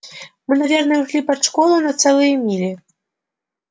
мы наверное ушли под школу на целые мили